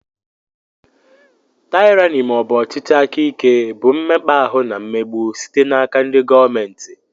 Tyrani maọbu ọchịchị aka ike nke bụ mmekpa ahụ na mmegbu site n'aka ndị gọọmenti.